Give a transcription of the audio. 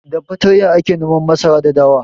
Da fatarya ake noman masara da dawa.